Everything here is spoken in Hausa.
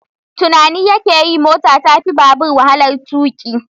Tunani yake yi mota ta fi babur walahar tuƙi